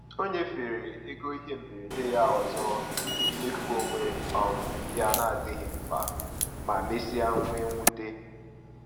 O nyefere ego ihe mberede ya ọzọ n’ihi mmefu onwe um ya na-adịghị mkpa, ma mesịa nwee mwute.